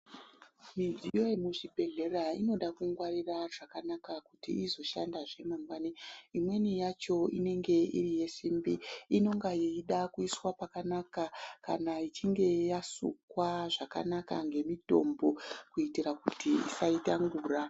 Midziyo yemuzvibhedhlera inoda kungwarira zvakanaka kuti izoshandazve mangwani. Imweni yacho inenge iri yesimbi inonga yeida kuiswa pakanaka kana ichinge yasukwa zvakanaka ngemitombo. Kuitira kuti isaita ngura.